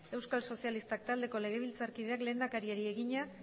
euskal sozialistak taldeko legebiltzarkideak lehendakariari egina